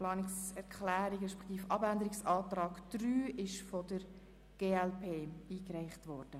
Sie haben den Abänderungsantrag 1 abgelehnt mit 81 Nein- gegen 66 Ja-Stimmen bei 2 Enthaltungen.